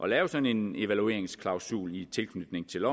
lave sådan en evalueringsklausul i tilknytning til